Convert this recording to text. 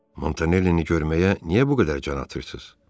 Montanellini görməyə niyə bu qədər can atırsınız?